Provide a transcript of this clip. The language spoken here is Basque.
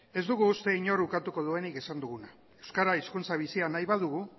ez dugu uste inork ukatu duenik esan duguna euskara hizkuntza bizia nahi badugu